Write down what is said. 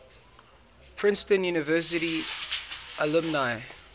princeton university alumni